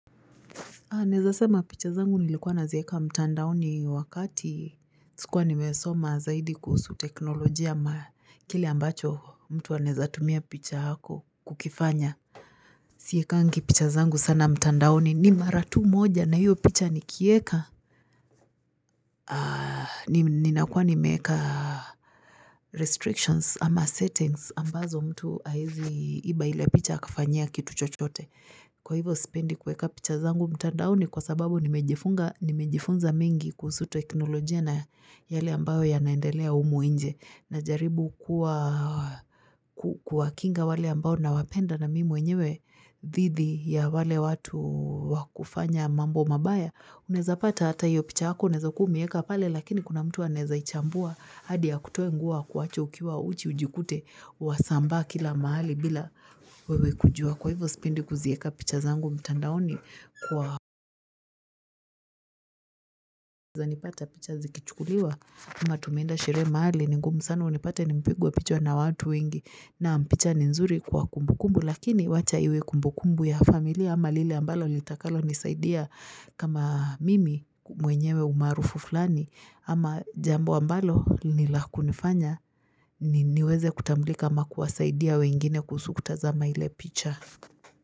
Anaeza sema picha zangu nilikuwa nazieka mtandaoni wakati sikuwa nimesoma zaidi kuhusu teknolojia ma kile ambacho mtu anaezatumia picha hako kukifanya Siekangi picha zangu sana mtandaoni ni maratu moja na hiyo picha nikieka Aaaa nim nina kuwa nimeeka restrictions ama settings ambazo mtu aezi iba ile picha akafanyia kitu chochote kwa hivo spendi kueka picha zangu mtandaoni kwa sababu nimejifunga nimejifunza mengi kuusu teknolojia na yale ambao yanaendelea umu inje na jaribu kuwa kuwa kinga wale ambao na wapenda na mimwenyewe dhithi ya wale watu wakufanya mambo mabaya unaeza pata hata hio picha yako unaeza kua umeieka pale lakini kuna mtu anaeza ichambua hadia kutoe nguo akuache ukiwa uchi ujikute wasambaa kila mahali bila wewe kujua kwa hivo spendi kuzieka picha zangu mtandaoni kwa hivyo za nipata picha zikichukuliwa amatumeenda sheree mahali ni ngumu sana unipate nimepigwa pichwa na watu wengi na mpicha ni nzuri kwa kumbukumbu lakini wacha iwe kumbukumbu ya familia ama lile ambalo litakalo nisaidia kama mimi mwenyewe umaarufu fulani ama jambo ambalo nilakunifanya ni niweze kutamblika ama kuwasaidia wengine kuusukutazama ile picha.